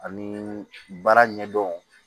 Ani baara ɲɛdɔn